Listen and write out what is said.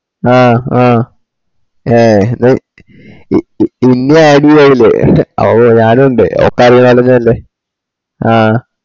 ആ ആ ഏ ഇ ഇന്നു add ചെയലേ അപ്പൊ ഞാനു ഇണ്ട് അപ്പൊ അത് അതേതായാലും നല്ലെ ആ